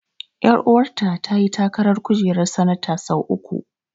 Ƴaruwa ta ta yi takarar kujerar sanata sau uku.